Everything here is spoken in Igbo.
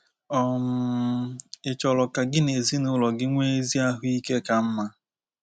um Ị̀ chọrọ ka gị na ezinụlọ gị nwee ezi ahụ ike ka mma?